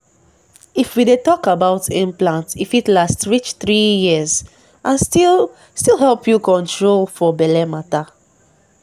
if we dey talk about implant e fit last reach three years and still still help you hold control for belle matter.